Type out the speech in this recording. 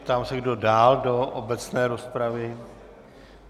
Ptám se, kdo dál do obecné rozpravy.